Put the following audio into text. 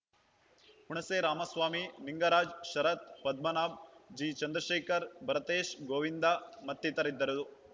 ಹುಣಸೆ ರಾಮಸ್ವಾಮಿ ಲಿಂಗರಾಜ್‌ ಶರತ್‌ ಪದ್ಮಾನಾಭ್‌ ಜಿಚಂದ್ರಶೇಖರ್‌ ಭರತೇಶ್‌ ಗೋವಿಂದ ಮತ್ತಿತರರಿದ್ದರು